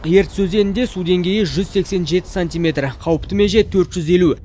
ертіс өзенінде су деңгейі жүз сексен жеті сантиметр қауіпті меже төрт жүз елу